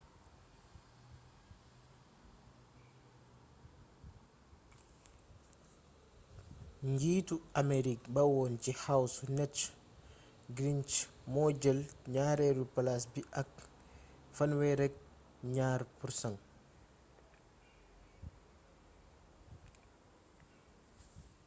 njiitu amerique ba woon ci house newt gingrich moo jël ñaareelu palaas bi ak 32%